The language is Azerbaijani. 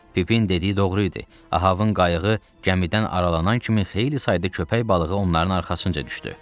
Pipin dediyi doğru idi, Ahabın qayığı gəmidən aralanan kimi xeyli sayda köpək balığı onların arxasınca düşdü.